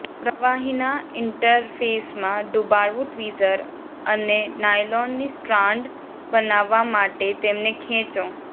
પ્રવાહીના ઇન્ટરફેસમાં ડુબાડવું ટ્વીઝર અને નાયલોનની સ્ટ્રાન્ડ બનાવવા માટે તેમને ખેંચો